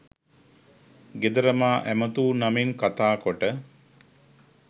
ගෙදර මා ඇමතූ නමින් කතා කොට